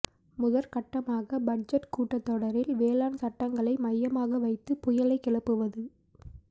முதற்கட்டமாக பட்ஜெட் கூட்டத்தொடரில் வேளாண் சட்டங்களை மையமாக வைத்து புயலைக் கிளப்புவது